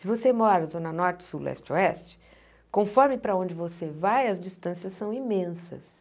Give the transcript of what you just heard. Se você mora na zona norte, sul, leste, oeste, conforme para onde você vai, as distâncias são imensas.